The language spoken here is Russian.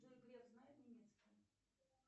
джой греф знает немецкий